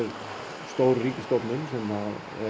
stór ríkisstofnun sem